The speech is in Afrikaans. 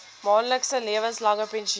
maandelikse lewenslange pensioen